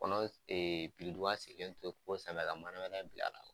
Kɔnɔ ee biriduga sigilen to kogo sanfɛ ka manabɛlɛ bila a la